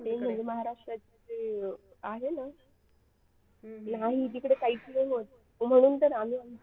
Main म्हणजे महाराष्ट्राचे जे आहे ना नाही तिकडे काहीच नाही होत म्हणून तर आम्ही आमचे